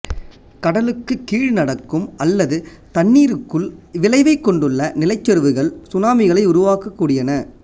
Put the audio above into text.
கடலுக்குகீழ் நடக்கும் அல்லது தண்ணீருக்குள் விளைவைக் கொண்டுள்ள நிலச்சரிவுகள் சுனாமிகளை உருவாக்கக்கூடியன